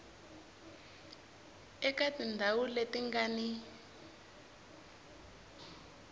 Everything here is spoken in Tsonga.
eka tindhawu leti nga ni